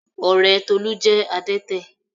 Ọ̀rẹ́ Tolú jẹ́ adẹ́tẹ̀